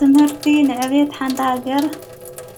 ትምህርቲ ንዕቤት ሓንታሃገር